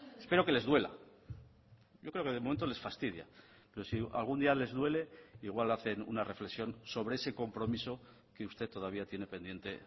espero que les duela yo creo que de momento les fastidia pero si algún día les duele igual hacen una reflexión sobre ese compromiso que usted todavía tiene pendiente